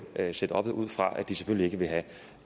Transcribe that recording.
lave setuppet ud fra at de selvfølgelig ikke vil have